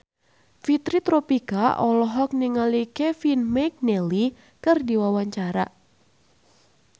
Fitri Tropika olohok ningali Kevin McNally keur diwawancara